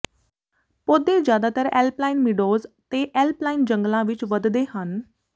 ਪੌਦੇ ਜਿਆਦਾਤਰ alpine meadows ਤੇ ਐਲਪਾਈਨ ਜੰਗਲਾਂ ਵਿਚ ਵੱਧਦੇ ਹਨ